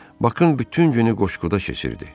Bakın bütün günü qoşquda keçirdi.